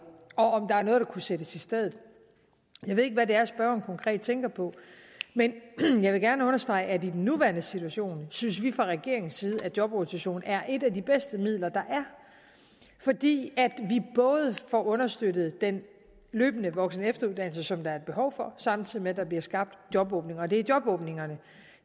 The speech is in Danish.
og om der er noget der kunne sættes i stedet jeg ved ikke hvad det er spørgeren konkret tænker på men jeg vil gerne understrege at i den nuværende situation synes vi fra regeringens side at jobrotation er et af de bedste midler der er fordi vi får understøttet den løbende voksen og efteruddannelse som der er behov for samtidig med at der bliver skabt jobåbninger og det er jobåbningerne